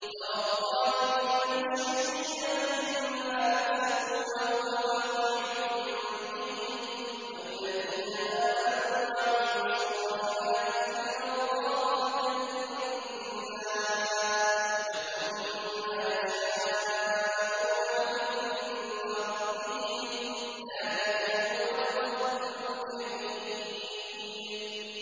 تَرَى الظَّالِمِينَ مُشْفِقِينَ مِمَّا كَسَبُوا وَهُوَ وَاقِعٌ بِهِمْ ۗ وَالَّذِينَ آمَنُوا وَعَمِلُوا الصَّالِحَاتِ فِي رَوْضَاتِ الْجَنَّاتِ ۖ لَهُم مَّا يَشَاءُونَ عِندَ رَبِّهِمْ ۚ ذَٰلِكَ هُوَ الْفَضْلُ الْكَبِيرُ